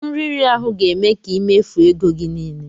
Nri iri ahu ga-eme ka i mefuo ego gi niile.